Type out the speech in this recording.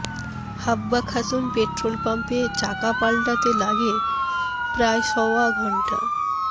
হাব্বা Khatun petrol পাম্পে চাকা পাল্টাতে লাগে প্রায় সওয়া ঘণ্টা